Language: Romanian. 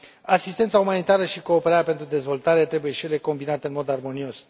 Asistența umanitară și cooperarea pentru dezvoltare trebuie, și ele, combinate în mod armonios.